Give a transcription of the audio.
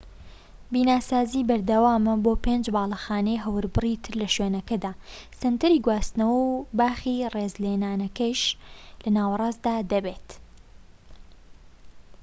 بیناسازی بەردەوامە بۆ پێنج باڵەخانەی هەوربڕی تر لە شوێنەکەدا سەنتەری گواستنەوە و باخی ڕێزلێنانەکەش لە ناوەڕاستدا دەبێت